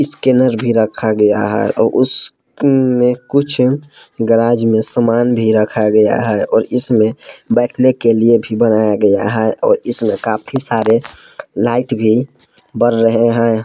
Scanner भी रखा गया है और उसमें कुछ गराज में सामान भी रखा गया है और इसमें बैठने के लिए भी बनाया गया है और इसमें काफी सारे लाइट भी बर रहे हैं।